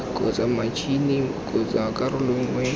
kgotsa matšhini kgotsa karolo nngwe